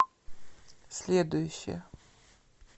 следующая